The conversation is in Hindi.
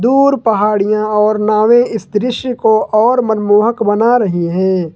दूर पहाड़िया और नावें इस दृश्य को और मनमोहक बना रही है।